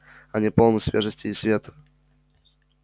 они полны свежести и света